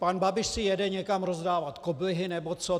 Pan Babiš si jede někam rozdávat koblihy nebo co.